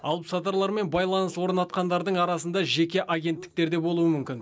алыпсатарлар мен байланыс орнатқандардың арасында жеке агенттіктер де болуы мүмкін